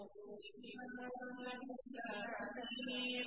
إِنْ أَنتَ إِلَّا نَذِيرٌ